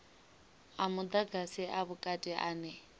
a mudagasi a vhukati ane